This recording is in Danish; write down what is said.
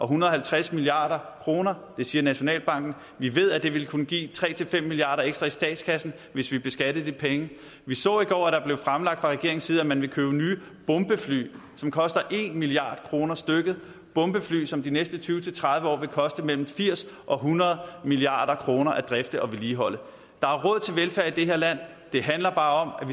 hundrede og halvtreds milliard kroner det siger nationalbanken vi ved at det vil kunne give tre fem milliard kroner ekstra i statskassen hvis vi beskattede de penge vi så i går at det fra regeringens side at man vil købe nye bombefly som koster en milliard kroner stykket bombefly som det de næste tyve til tredive år vil koste mellem firs og hundrede milliard kroner at drifte og vedligeholde der er råd til velfærd i det her land det handler bare